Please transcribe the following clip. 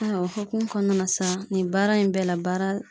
Ayiwa o hukumu kɔnɔna na sa nin baara in bɛɛ la baara